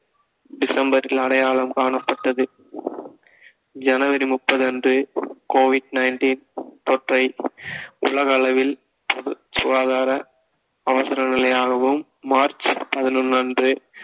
டிசம்பரில் அடையாளம் காணப்பட்டது ஜனவரி முப்பது அன்று covid nineteen தொற்றை உலக அளவில் சு~ சுகாதார அவசர நிலையாகவும் மார்ச் பதினொன்று அன்று